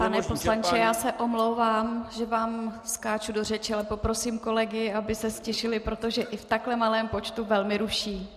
Pane poslanče, já se omlouvám, že vám skáču do řeči, ale poprosím kolegy, aby se ztišili, protože i v takto malém počtu velmi ruší.